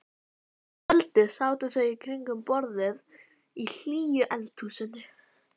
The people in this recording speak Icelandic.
Hins vegar eru verksummerki landlyftingar ávallt augljós.